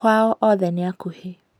Kwao othe nĩ akuhĩ